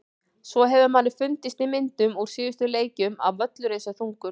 Svo hefur manni fundist í myndum úr síðustu leikjum að völlurinn sé þungur.